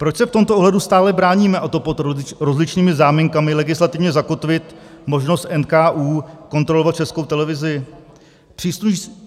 Proč se v tomto ohledu stále bráníme, a to pod rozličnými záminkami, legislativně zakotvit možnost NKÚ kontrolovat Českou televizi?